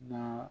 Na